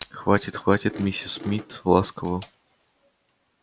хватит хватит миссис мид ласково